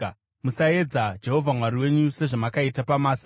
Musaedza Jehovha Mwari wenyu sezvamakaita paMasa.